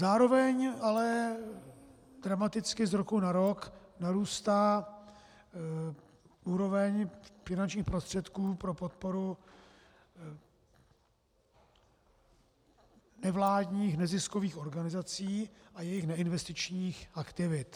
Zároveň ale dramaticky z roku na rok narůstá úroveň finančních prostředků pro podporu nevládních neziskových organizací a jejich neinvestičních aktivit.